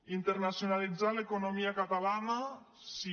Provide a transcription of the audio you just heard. internacionalitzar l’economia catalana sí